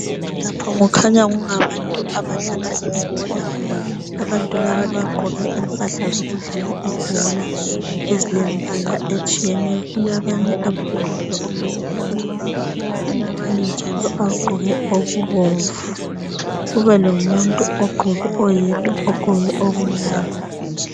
Lapho kukhanya kungabantu abadlala ibhola, abantu laba bagqoke impahla zokudlala ibhola ezilembala etshiyeneyo. Kulabanye abagqoke okuluhlaza , kulabanye njalo abagqoke okubomvu kube lomuntu oyedwa ogqoke okumnyama.